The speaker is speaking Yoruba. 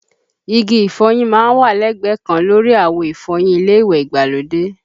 Igi ìfọyín má ń wà lẹ́gbẹ̀ẹ́ kan lórí àwo ìfọyín ilé ìwẹ̀ ìgbàlódé